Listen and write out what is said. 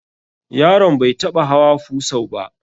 Yaron bai taɓa hawa fusau ba.